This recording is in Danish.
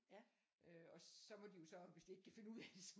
Og så må de jo så hvis de ikke kan finde ud af det så